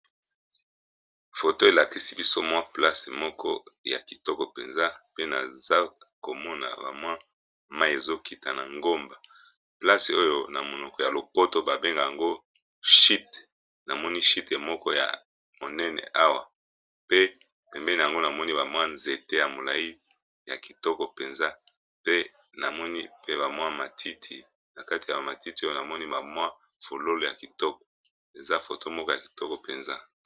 foto elakisi biso mwa place moko ya kitoko mpenza pe naza komona bamwi mai ezokita na ngomba place oyo na monoko ya lopoto babenge yango chite namoni shite moko ya monene awa pe pembeni yango namoni bamwa nzete ya molai ya kitoko mpenza pe namoni pe bamwa matiti na kati ya bamatiti oyo namoni bamwa fololo ya kitoko eza foto moko ya kitoko mpenza